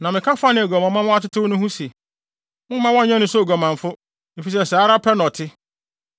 Na meka faa nea aguamammɔ ama watetew no ho se, ‘Momma wɔnnyɛ no sɛ oguamanfo, efisɛ saa ara pɛ na ɔte.’